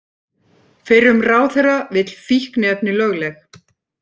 Fyrrum ráðherra vill fíkniefni lögleg